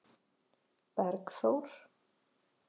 Bergþór